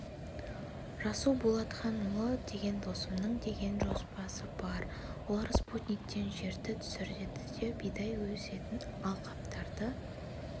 расул болатханұлы деген досымның деген жобасы бар олар спутниктен жерді түсіреді де бидай өсетін алқаптарды